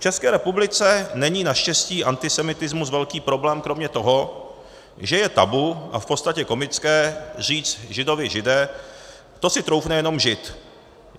V České republice není naštěstí antisemitismus velký problém kromě toho, že je tabu a v podstatě komické říct Židovi Žide, to si troufne jenom Žid.